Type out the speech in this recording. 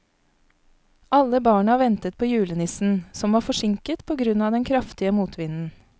Alle barna ventet på julenissen, som var forsinket på grunn av den kraftige motvinden.